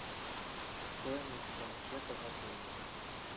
стоимость банкета в отеле